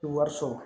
Wari sɔrɔ